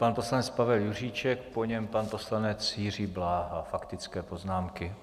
Pan poslanec Pavel Juříček, po něm pan poslanec Jiří Bláha, faktické poznámky.